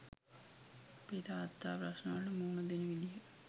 අපේ තාත්තා ප්‍රශ්නවලට මුණ දෙන විදිහ